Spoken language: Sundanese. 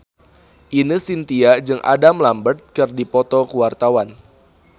Ine Shintya jeung Adam Lambert keur dipoto ku wartawan